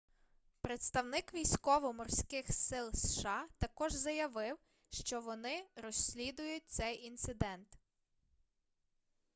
представник військово-морских сил сша також заявив что вони розслідують цей інцидент